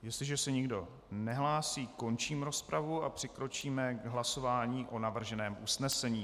Jestliže se nikdo nehlásí, končím rozpravu a přikročíme o hlasování o navrženém usnesení.